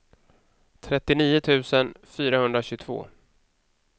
trettionio tusen fyrahundratjugotvå